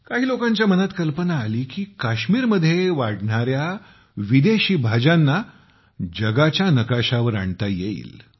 काही लोकांच्या मनात कल्पना आली की काश्मीरमध्ये वाढणाऱ्या विदेशी भाज्यांना जगाच्या नकाशावर आणता येईल